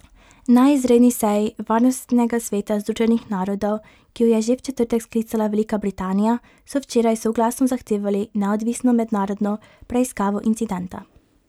Na izredni seji varnostnega sveta Združenih narodov, ki jo je že v četrtek sklicala Velika Britanija, so včeraj soglasno zahtevali neodvisno mednarodno preiskavo incidenta.